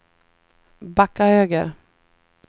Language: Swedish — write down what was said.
backa höger